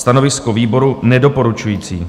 Stanovisko výboru - nedoporučující.